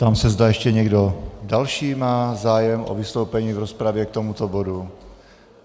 Ptám se, zda ještě někdo další má zájem o vystoupení v rozpravě k tomuto bodu.